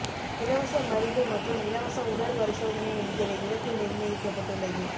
இலவச மருந்து மற்றும் இலவச உடல் பரிசோதனை என்கிற இலக்கு நிர்ணயிக்கப்பட்டுள்ளது